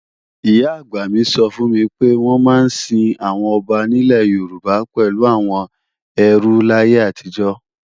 Ìyá-àgbà mi sọ fún mi pé wọ́n máa ń sin àwọn ọba nílẹ̀ Yorùbá pẹ̀lú àwọn ẹrú láyé àtijọ́